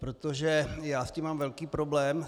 Protože já s tím mám velký problém.